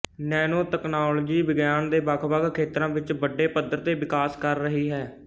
ਨੈਨੋਤਕਨਾਲੋਜੀ ਵਿਗਿਆਨ ਦੇ ਵੱਖਵੱਖ ਖੇਤਰਾਂ ਵਿੱਚ ਵੱਡੇ ਪੱਧਰ ਤੇ ਵਿਕਾਸ ਕਰ ਰਹੀ ਹੈ